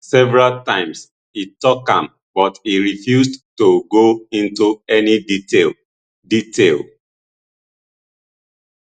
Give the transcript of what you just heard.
several times e tok am but e refused to go into any detail detail